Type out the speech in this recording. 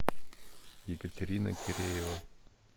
екатерина киреева